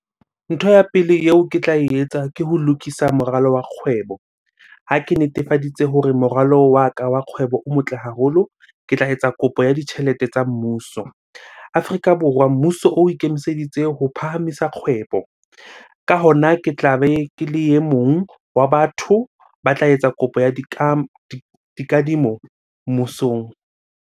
Ntho ya pele eo ke tla etsa ke ho lokisa moralo wa kgwebo. Ha ke netefaditse hore moralo wa ka wa kgwebo o motle haholo, ke tla etsa kopo ya ditjhelete tsa mmuso. Afrika Borwa, mmuso o ikemiseditse ho phahamisa kgwebo. Ka hona, ke tlabe ke le e mong wa batho ba tla etsa kopo ya dikadimo mmusong.